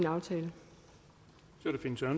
aftale